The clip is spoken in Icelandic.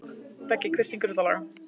Beggi, hver syngur þetta lag?